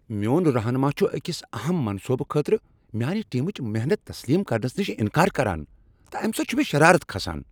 میون رہنما چھ أکس اہم منصوبہ خٲطرٕ میانہِ ٹیمٕچ محنت تسلیم کرنس نشہ انکار کران تہٕ امہ سۭتۍ چھ مےٚ شرارت کھسان۔